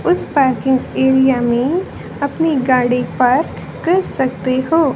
उस parking area में अपनी गाड़ी पार्क कर सकते हो।